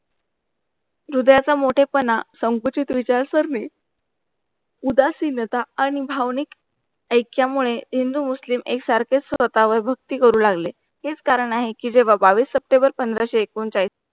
दुध्याचा मोठेपणा संकुचित विचार सरणी उदासीनता आणि भावनिक ऐक्यामुळे हिंदू मुस्लिम एक सारखेच स्वतःवर भक्ती करू लागले, हेच कारण आहे कि जेव्हा बावीस सप्टेंबर पंधराशे एकोणचाळीस